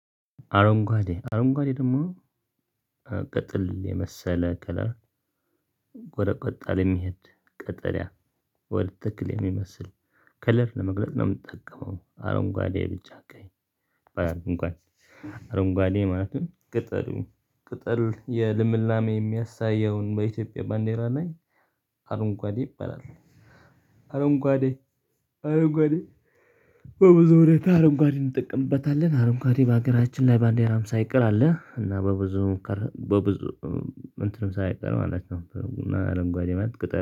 አረንጓዴ አረንጓዴ ደግሞ ቅጥል የመሰለ ከለር ጎረቆጣ ለሚሄድ ቀጠለያ ወደ ትክል የሚመስል ከለር ለመግለጥ ነው። ምጠቀመው አረንጓዴ ብጫ ቀይ አረንጓዴ ማለት ቅጠሉ ቅጠል የልምላሜ የሚያሳየውን በኢትዮጵያ ባንዴራ ላይ አረንጓዴ ይባላል። አረንጓዴ አረንጓዴ በብዙ ሁኔታ አረንጓዴን እንጠቀምበታለን አረንጓዴ በሀገራችን ላይ ባንዴራም ሳይቀር አለ። እና በብዙ ሙከራ በብዙ እንትንም ሳይቀር ማለት ነው እና አረንጓዴ ማለት ቅጠል